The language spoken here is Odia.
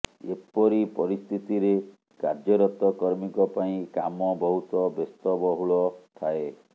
ଏପରି ପରିସ୍ଥିତିରେ କାର୍ଯ୍ୟରତ କର୍ମୀଙ୍କ ପାଇଁ କାମ ବହୁତ ବ୍ୟସ୍ତବହୁଳ ଥାଏ